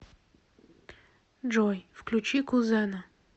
джой включи кузена